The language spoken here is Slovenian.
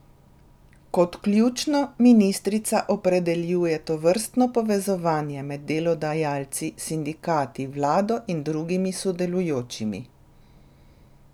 Kot ključno ministrica opredeljuje tovrstno povezovanje med delodajalci, sindikati, vlado in drugimi sodelujočimi.